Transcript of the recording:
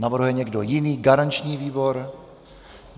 Navrhuje někdo jiný garanční výbor?